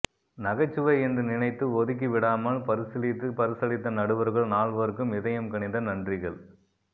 நகைச்சுவை என்று நினைத்து ஒதுக்கி விடாமல் பரிசீலித்து பரசளித்த நடுவர்கள் நால்வருக்கும் இதயம் கனிந்த நன்றிகள்